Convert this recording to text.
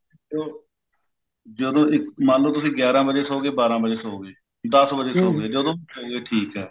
ਜਦੋਂ ਤੁਸੀਂ ਮੰਨ ਲੋ ਗਿਆਰਾ ਵਜੇ ਸੋ ਗਏ ਬਾਰਾਂ ਵਜੇ ਸੋ ਗਏ ਦੱਸ ਵਜੇ ਸੋ ਗਏ ਜਦੋਂ ਵੀ ਸੋ ਗਏ ਠੀਕ ਐ